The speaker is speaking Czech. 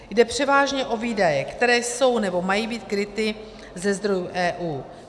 Jde převážně o výdaje, které jsou nebo mají být kryty ze zdrojů EU.